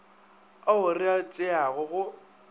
ao re a tšeago go